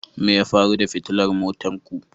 Me ya faru da fitilar motar ku